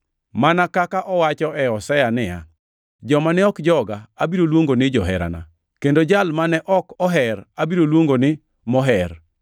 Mana kaka owacho e Hosea niya: “Joma ne ok joga, abiro luongo ni jaherana kendo jal mane ok oher abiro luongo ni moher,” + 9:25 \+xt Hos 2:23\+xt*